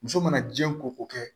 Muso mana jiɲɛ ko kɛ